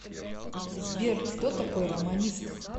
сбер кто такой романист